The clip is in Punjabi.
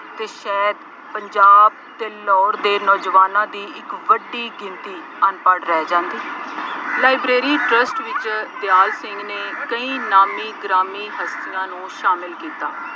ਅਤੇ ਸ਼ਾਇਦ ਪੰਜਾਬ ਅਤੇ ਲਾਹੌਰ ਦੇ ਨੌਜਵਾਨਾਂ ਦੀ ਇੱਕ ਵੱਡੀ ਗਿਣਤੀ ਅਨਪੜ੍ਹ ਰਹਿ ਜਾਦੀ। ਲਾਈਬ੍ਰੇਰੀ ਟਰੱਸਟ ਵਿੱਚ ਦਿਆਲ ਸਿੰਘ ਨੇ ਕਈ ਨਾਮੀ ਗ੍ਰਾਮੀ ਹਸਤੀਆਂ ਨੂੰ ਸ਼ਾਮਿਲ ਕੀਤਾ।